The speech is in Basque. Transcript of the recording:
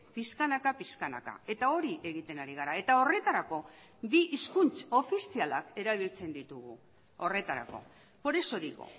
pixkanaka pixkanaka eta hori egiten ari gara eta horretarako bi hizkuntz ofizialak erabiltzen ditugu horretarako por eso digo